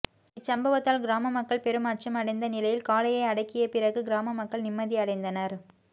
இச்சமப்வத்தால் கிராம மக்கள் பெரும் அச்சம் அடைந்த நிலையில் காலையை அடக்கிய பிறகு கிராம மக்கள் நிம்மதி அடைந்தனா்